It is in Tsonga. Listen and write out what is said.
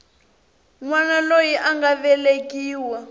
wana loyi a nga velekiwa